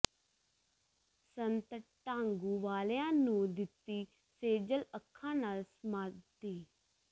ਸੰਤ ਢਾਂਗੂ ਵਾਲਿਆਂ ਨੂੰ ਦਿੱਤੀ ਸੇਜਲ ਅੱਖਾਂ ਨਾਲ ਸਮਾਧੀ